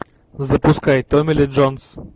запускай томми ли джонс